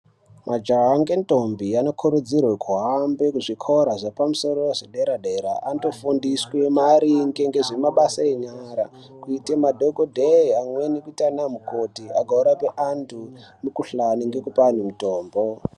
Majaha nge ndombi ano kurudzirwe kuhambe ku zvikora zvepa musoro ye dera dera anoto fundiswe maringe ngezve mabasa enyara kuite madhokodheya amweni kuita ana mukoti ago rape antu mu kuhlani ngekupa anhu mutombo.